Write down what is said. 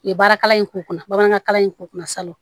U ye baara kalan in k'u kunna bamanankan kalan in k'u kunna salon